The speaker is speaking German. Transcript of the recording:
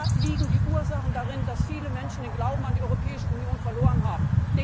Da liegen die Ursachen dafür, dass viele Menschen den Glauben an die Europäische Union verloren haben.